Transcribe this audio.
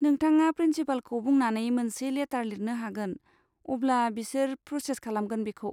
नोंथाङा प्रिन्सिपालखौ बुंनानै मोनसे लेटार लिरनो हागोन, अब्ला बिसिर प्रसेस खालामगोन बेखौ।